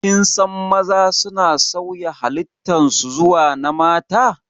Kinsan maza suna sauya halittan su zuwa na mata